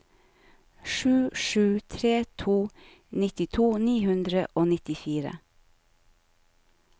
sju sju tre to nittito ni hundre og nittifire